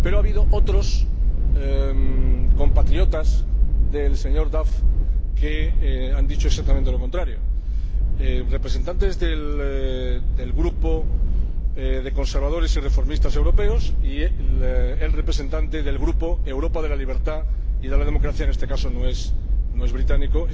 Pero ha habido otros compatriotas del señor Duff que han dicho exactamente lo contrario representantes del Grupo de los Conservadores y Reformistas Europeos y el representante del Grupo Europa de la Libertad y de la Democracia —en este caso, no es británico—,